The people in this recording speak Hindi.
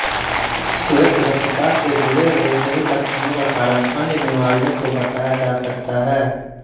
श्वेतरक्तता से जुड़े हुए सभी लक्षणों का कारण अन्य बीमारियों को बताया जा सकता है